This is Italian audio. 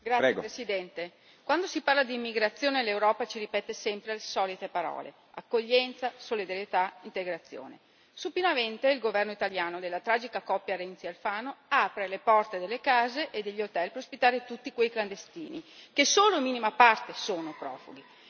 Signor Presidente, onorevoli colleghi, quando si parla di immigrazione l'Europa ci ripete sempre le solite parole accoglienza, solidarietà, integrazione. Supinamente il governo italiano della tragica coppia Renzi Alfano apre le porte delle case e degli hotel per ospitare tutti quei clandestini che solo in minima parte sono profughi.